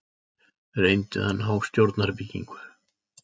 Reyndu að ná stjórnarbyggingu